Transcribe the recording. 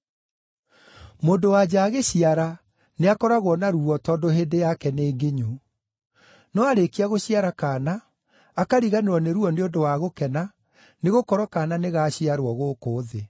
Mũndũ-wa-nja agĩciara nĩakoragwo na ruo tondũ hĩndĩ yake nĩ nginyu; no aarĩkia gũciara kaana, akariganĩrwo nĩ ruo nĩ ũndũ wa gũkena nĩgũkorwo kaana nĩ gaaciarwo gũkũ thĩ.